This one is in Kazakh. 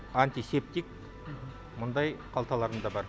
антисептик мындай қалталарында бар